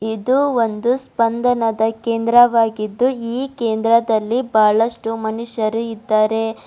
ಇದು ಒಂದು ಸ್ಪಂದನದ ಕೇಂದ್ರವಾಗಿದ್ದು ಈ ಕೇಂದ್ರದಲ್ಲಿ ಬಹಳಷ್ಟು ಮನುಷ್ಯರು ಇದ್ದಾರೆ.